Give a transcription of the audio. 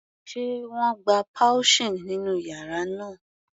Sé wọ́n gba pouching nínú yàrá náà?.